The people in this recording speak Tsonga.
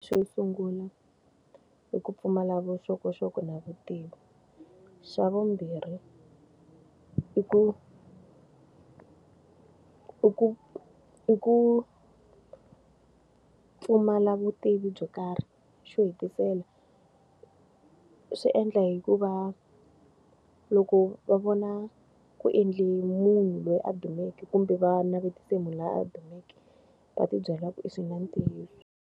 Xo sungula i ku pfumala vuxokoxoko na vutivi. Xa vumbirhi i ku i ku i ku pfumala vutivi byo karhi. Xo hetisela, swi endla hikuva loko va vona ku endle munhu loyi a dumeke kumbe va navetisa munhu loyi a dumeke, va ti byela ku i swi na ntiyiso.